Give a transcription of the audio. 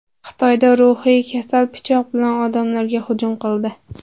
Xitoyda ruhiy kasal pichoq bilan odamlarga hujum qildi.